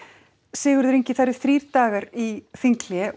Sigurður Ingi það eru þrír dagar í þinghlé